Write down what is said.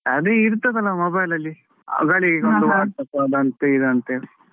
ಅದು ಇರ್ತದಲ್ಲ mobile ಅಲ್ಲಿ ಗಳಿಗೆಗೊಂದು WhatsApp ಅದಂತೆ ಇದಂತೆ.